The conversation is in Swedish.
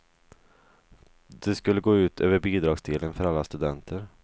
Det skulle gå ut över bidragsdelen för alla studenter.